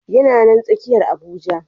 Yana nan a tsakiyar Abuja.